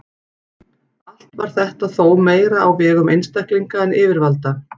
Allt var þetta þó meira á vegum einstaklinga en yfirvalda.